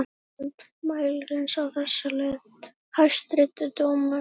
Forsetanum mæltist á þessa leið: Hæstvirti dómur!